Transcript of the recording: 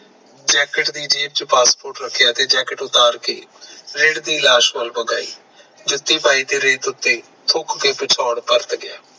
jacket ਦੀ ਜੇਬ ਚ passport ਰੱਖਿਆ ਤੇ jacket ਉਤਾਰ ਕੇ ਰੇਹੜੀ ਲਾਸ਼ ਕੋਲ ਬਗਾਯੀ ਜੁੱਤੀ ਪਾਈ ਤੇ ਰੇਤ ਉਤੇ ਥੁੱਕ ਕੇ ਪਿਛੋੜ ਪਰਤ ਗਿਆ